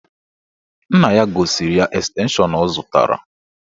Nna ya gosiri ya estenshọn ọ zụtara